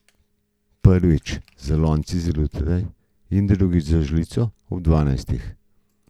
Prvič z lonci zjutraj in drugič z žlico ob dvanajstih.